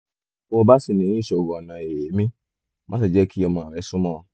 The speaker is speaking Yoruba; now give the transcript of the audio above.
bó bá ṣì ní ìṣòro ọ̀nà èémí má ṣe jẹ́ kí ọmọ rẹ súnmọ́ ọn